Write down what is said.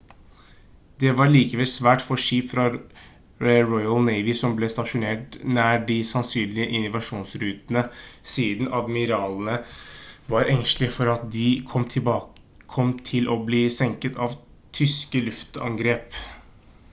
det var likevel svært få skip fra royal navy som ble stasjonert nær de sannsynlige invasjonsrutene siden admiralene var engstelige for at de kom til å bli senket av tyske luftangrep